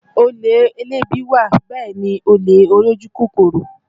Olè elébi wà bẹ́ẹ̀ náà ni olè olójú kòkòrò